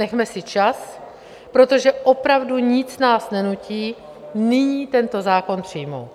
Nechme si čas, protože opravdu nic nás nenutí nyní tento zákon přijmout.